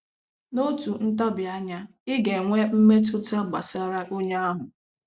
N'otu ntabi anya, ị ga-enwe mmetụta gbasara onye ahụ.